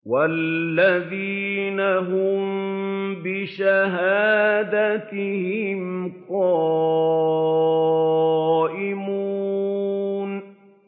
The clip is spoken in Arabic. وَالَّذِينَ هُم بِشَهَادَاتِهِمْ قَائِمُونَ